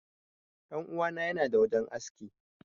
Dan uwa na yana da wajen aski.